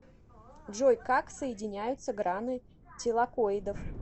джой как соединяются граны тилакоидов